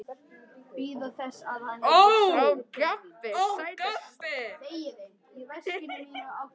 Súrefnið í kringum okkur hefur upphaflega orðið til í sólstjörnum.